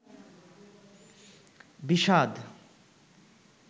বিষাদ